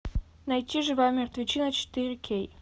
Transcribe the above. найти живая мертвечина четыре кей